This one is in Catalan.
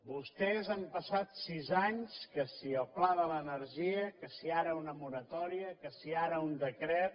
vostès han passat sis anys que si el pla de l’energia que si ara una moratòria que si ara un decret